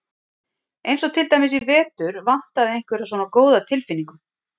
Eins og til dæmis í vetur vantaði einhverja svona góða tilfinningu.